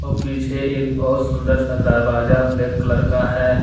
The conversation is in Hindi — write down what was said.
पीछे एक बहुत सुंदर सा दारवाजा ब्लैक कलर का है।